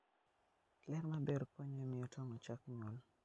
Ler maber konyo e miyo tong' ochak nyuol.